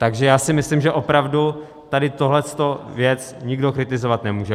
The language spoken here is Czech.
Takže já si myslím, že opravdu tady tuhle věc nikdo kritizovat nemůže.